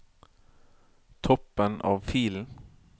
Toppen av filen